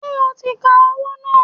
Ṣé o ti ka owó náà?